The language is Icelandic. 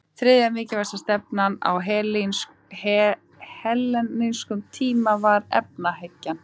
Þriðja mikilvægasta stefnan á hellenískum tíma var efahyggjan.